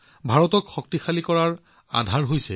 কিন্তু শিক্ষাৰ্থী শক্তিৰ পৰিসৰ বহুত ডাঙৰ অতি বিশাল